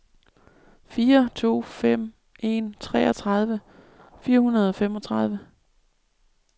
fire to fem en treogtredive fire hundrede og femogtredive